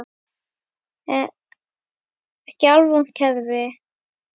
Ekki alvont kerfi.